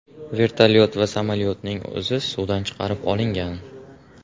Vertolyot va samolyotning o‘zi suvdan chiqarib olingan.